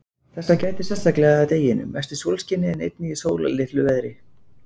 Þessa gætir sérstaklega að deginum, mest í sólskini, en einnig í sólarlitlu veðri.